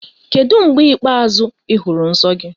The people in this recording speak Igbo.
Kedu mgbe ikpeazụ ị hụrụ nsọ gị?